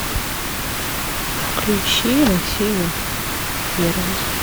включи россию первый